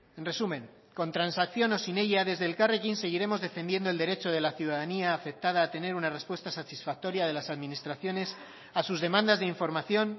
en resumen con transacción o sin ella desde elkarrekin seguiremos defendiendo el derecho de la ciudadanía afectada a tener una respuesta satisfactoria de las administraciones a sus demandas de información